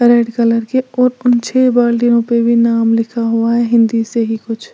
Red colour के और उन छे बाल्टियों पे भी नाम लिखा हुआ है हिंदी से ही कुछ।